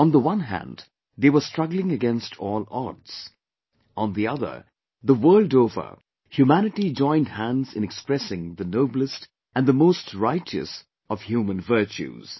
On the one hand they were struggling against all odds; on the other, the world over, humanity joined hands in expressing the noblest & the most righteous of human virtues